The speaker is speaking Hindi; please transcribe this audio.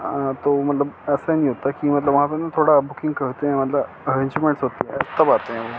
अ तो मतलब ऐसा नही होता कि मतलब वहाँ पे न थोड़ा बुकिंग करते हैं मतलब अर्रेंजमेंट्स होती है तब आते हैं।